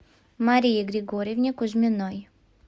марии григорьевне кузьминой